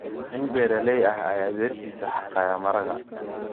Nin beeraley ah ayaa beertiisa xaaqaya maraqa.